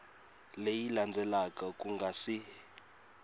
leyi landzelaka ku nga si